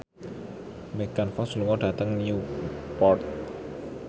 Megan Fox lunga dhateng Newport